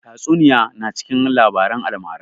Tatsuniya na cikin labaran almara